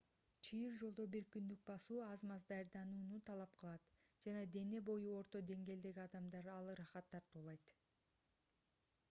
чыйыр жолдо бир күндүк басуу аз-маз даярданууну талап кылат жана дене бою орто деңгээлдеги адамдарга ал ырахат тартуулайт